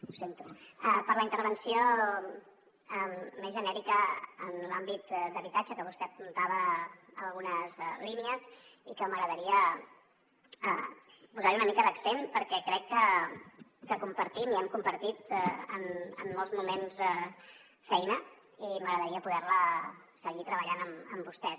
ho sento per la intervenció més genèrica en l’àmbit d’habitatge que vostè apuntava a algunes línies i que m’agradaria posar hi una mica d’accent perquè crec que compartim i hem compartit en molts moments feina i m’agradaria poder la seguir treballant amb vostès